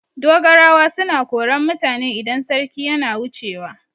Dogarawa suna koran mutane idan sarki yana wucewa.